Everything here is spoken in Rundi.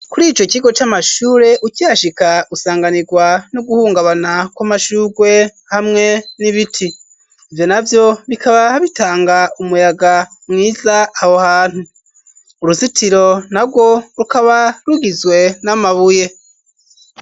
kuri ico kigo c'amashure, ukihashika usanganirwa no guhungabana kw'amashurwe hamwe n'ibit.i ivyo navyo bikaba bitanga umuyaga mwiza aho hantu. uruzitiro narwo rukaba rugizwe n'amabuye.